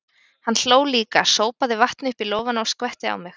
Hann hló líka, sópaði vatni upp í lófana og skvetti á mig.